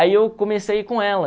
Aí eu comecei a ir com ela.